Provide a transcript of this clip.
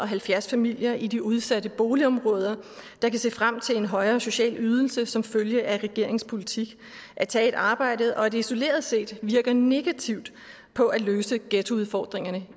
halvfjerds familier i de udsatte boligområder der kan se frem til en højere social ydelse som følge af regeringens politik at tage et arbejde og at det isoleret set virker negativt på at løse ghettoudfordringerne